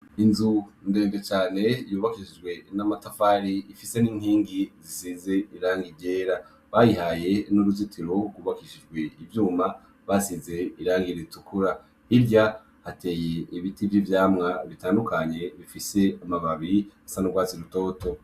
Inzu ndende cane yubakishijwe n'amatafari ifise n'inkingi zisize irangi ryera bayi haye n'uruzitiro rwubakishijwe ivyuma basize irangi ritukura hirya hateye ibiti vy'ivyamwa bitandukanye bifise amababi asa n'urwatsi rutoto .